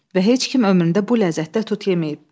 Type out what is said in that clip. Və heç kim ömründə bu ləzzətdə tut yeməyib.